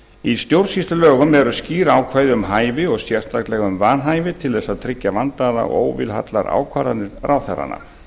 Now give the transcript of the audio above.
í stjórnsýslulögum eru skýr ákvæði um hæfi og sérstaklega um vanhæfi til þess að tryggja vandaðar og óvilhallar ákvarðanir ráðherranna